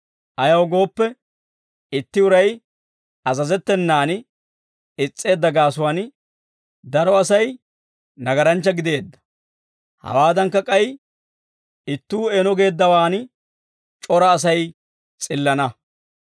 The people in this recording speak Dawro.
Ayaw gooppe, itti uray azazettenan is's'eedda gaasuwaan, daro Asay nagaranchcha gideedda, hawaadankka k'ay ittuu eeno geeddawaan c'ora Asay s'illana.